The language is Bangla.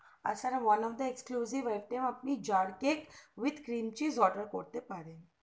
R sir one of the exclusive item আপনি jar cake with crienchies order করতে পারেন